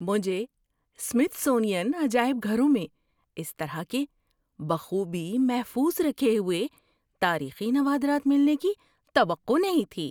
مجھے سمِتھسونین عجائب گھروں میں اس طرح کے بخوبی محفوظ رکھے ہوئے تاریخی نوادرات ملنے کی توقع نہیں تھی۔